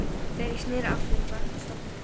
Þegar ég sneri aftur var hún sofnuð.